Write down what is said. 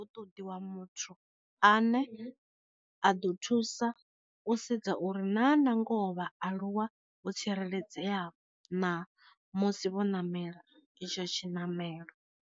U ṱoḓiwa muthu a ne a ḓo thusa u sedza uri na na ngoho vha aluwa vho tsireledzea na musi vho namela itsho tshi namelo.